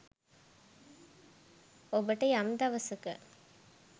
ඔබට යම් දවසක